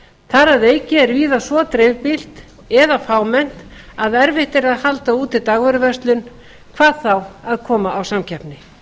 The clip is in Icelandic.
þar að auki er víða svo dreifbýlt eða fámennt að erfitt er að halda úti dagvöruverslun hvað þá að koma á samkeppni